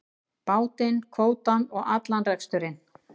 Bátinn, kvótann og allan reksturinn.